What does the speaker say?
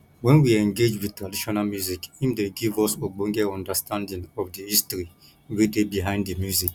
when we engage with traditional music im dey give us ogbonge understanding of di history wey dey behind di music